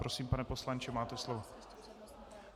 Prosím, pane poslanče, máte slovo.